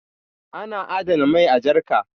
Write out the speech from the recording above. ana adana mai a jarka